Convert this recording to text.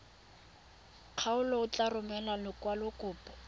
kgaolo o tla romela lekwalokopo